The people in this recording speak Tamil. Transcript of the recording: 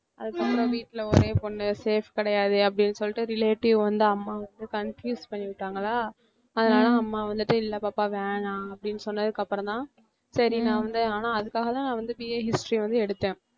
அதுக்கு அப்புறம் வீட்ல ஒரே பொண்ணு safe கிடையாது அப்படின்னு சொல்லிட்டு relative வந்து அம்மாவ வந்து confuse பண்ணிவிட்டாங்களா, அதனால அம்மா வந்துட்டு இல்ல பாப்பா வேணாம் அப்படின்னு சொன்னதுக்கப்புறம் தான் சரி நான் வந்து ஆனா அதுக்காக தான் நான் வந்து BA history வந்து எடுத்தேன்